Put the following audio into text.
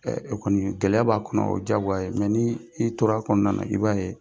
kɔni gɛlɛya b'a kɔnɔ o diyagoya ye ni i tora a kɔnɔna na i b'a ye.